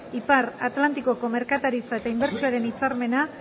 ipar atlantikoko merkataritza eta inbertsioaren hitzarmena